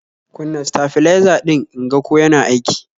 Kunna stafliza din inga ko yana aiki